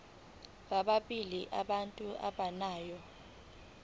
bobabili abantu abagananayo